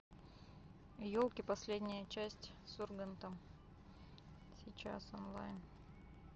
елки последняя часть с ургантом сейчас онлайн